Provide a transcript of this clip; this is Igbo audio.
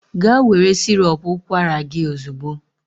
Gaa were sirop ụkwara gị ozugbo!